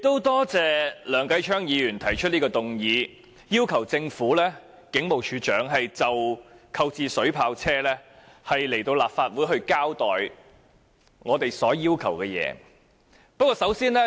多謝梁繼昌議員動議這項議案，要求警務處處長就購入水炮車一事，前來立法會交代我們所要求的資料。